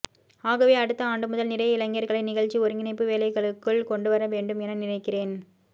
ஆகவே அடுத்த ஆண்டுமுதல் நிறைய இளைஞர்களை நிகழ்ச்சி ஒருங்கிணைப்பு வேலைகளுக்குள் கொண்டுவரவேண்டும் என நினைக்கிறேன்